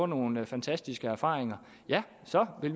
nogle fantastiske erfaringer ja så er det